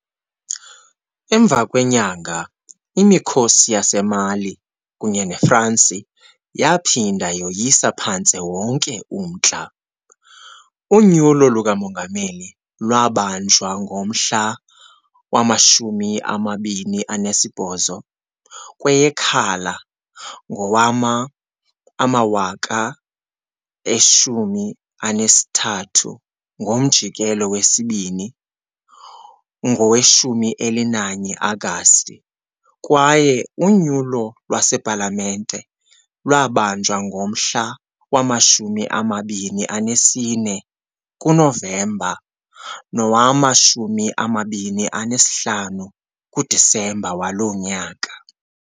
Emva kwenyanga, imikhosi yaseMali kunye neFransi yaphinda yoyisa phantse wonke umntla, unyulo lukamongameli lwabanjwa ngomhla wama-28 kweyeKhala ngowama-2013, ngomjikelo wesibini ngowe-11 Agasti, kwaye unyulo lwasepalamente lwabanjwa ngomhla wama-24 kuNovemba nowama-25 kuDisemba waloo nyaka.